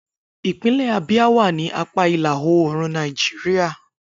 Ipinle Abia wa ni apa ila-oorun Naijiria.